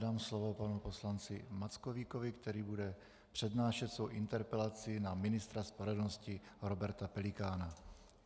Dám slovo panu poslanci Mackovíkovi, který bude přednášet svou interpelaci na ministra spravedlnosti Roberta Pelikána.